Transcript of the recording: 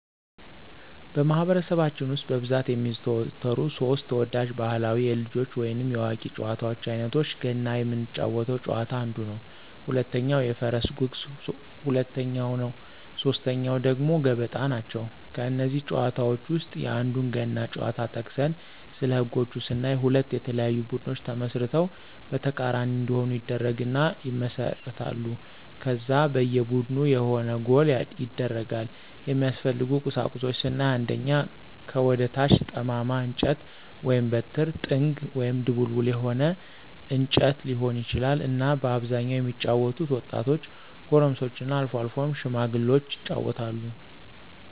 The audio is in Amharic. በማኅበረሰባችን ውስጥ በብዛት የሚዘወተሩ ሦስት (3) ተወዳጅ ባሕላዊ የልጆች ወይንም የአዋቂዎች ጨዋታዎች አይነቶቻቸው ገና ምንጫወተው ጨዋታ አንዱ ነው፣ ሁለተኛው የፈረስ ጉግስ ሁለተኛው ነው ሶስተኛው ደግሞ ገበጣ ናቸው። ከእነዚህ ጨዋታዎች ውስጥ የአንዱን ገና ጨዋታ ጠቅሰን ስለህጎች ስናይ ሁለት የተለያዩ ቡድኖች ተመስርተው በተቃራኒ እንዲሆኑ ይደረግና ይመሰረታሉ ከዛ በየ ቡድኑ የሆነ ጎል ይደረጋል፣ የሚያስፈልጉ ቁሳቁሶች ስናይ አንደኛ ከወደ ታች ጠማማ እንጨት(በትር)፣ጥንግ(ድቡልቡል የሆነ እንጨት ሊሆን ይችላል)እና በአብዛኛው የሚጫወቱት ወጣቶች፣ ጎረምሶችና አልፎ አልፎም ሽማግሎች ይጫወታሉ።